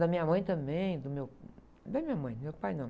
Da minha mãe também, do meu... Da minha mãe, do meu pai, não.